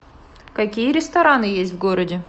какие рестораны есть в городе